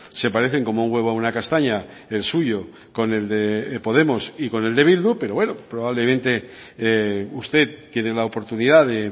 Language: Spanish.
se parecen como un huevo a una castaña el suyo con el de podemos y con el de bildu pero bueno probablemente usted tiene la oportunidad de